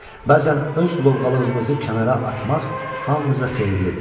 Bəzən öz lovğalığımızı kənara atmaq hamımıza xeyirlidir.